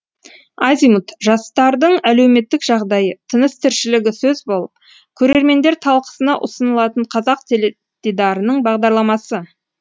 азимут жастардың әлеуметтік жағдайы тыныс тіршілігі сөз болып көрермендер талқысына ұсынылатын қазақ теледидарының бағдарламасы